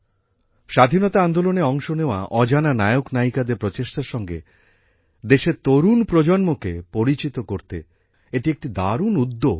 স্বাধীনতা আন্দোলনে অংশ নেওয়া অজানা নায়কনায়িকাদের প্রচেষ্টার সঙ্গে দেশের তরুণ প্রজন্মকে পরিচিত করতে এটি একটি দারুণ উদ্যোগ